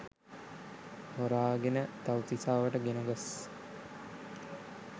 හොරාගෙන තව්තිසාවට ගෙන ගොස්